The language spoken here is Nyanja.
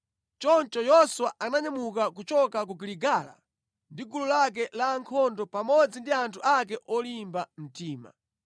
Choncho Yoswa ananyamuka kuchoka ku Giligala ndi gulu lake la ankhondo pamodzi ndi anthu ake olimba mtima.